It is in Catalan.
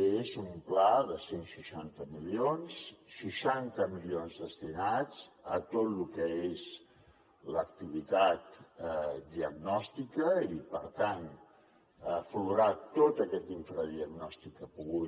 és un pla de cent i seixanta milions seixanta milions destinats a tot el que és l’activitat diagnòstica i per tant a aflorar tot aquest infradiagnòstic que ha pogut